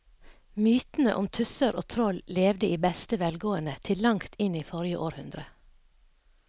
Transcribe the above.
Mytene om tusser og troll levde i beste velgående til langt inn i forrige århundre.